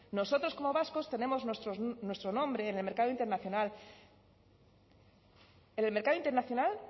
nosotros como vascos tenemos nuestro nombre en el mercado internacional en el mercado internacional